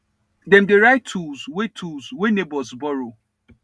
dem dey write tools wey tools wey neighbours borrow